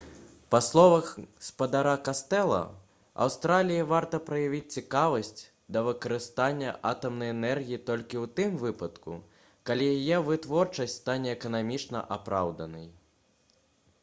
па словах спадара кастэла аўстраліі варта праявіць цікавасць да выкарыстання атамнай энергіі толькі ў тым выпадку калі яе вытворчасць стане эканамічна апраўданай